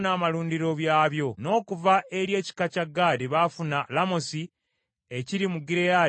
n’okuva eri ekika kya Gaadi baafuna Lamosi ekiri mu Gireyaadi, Makanayimu,